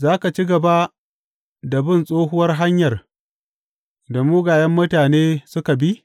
Za ka ci gaba da bin tsohuwar hanyar da mugayen mutane suka bi?